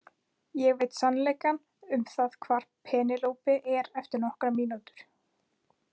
Ég veit sannleikann um það hvar Pénelope er eftir nokkrar mínútur.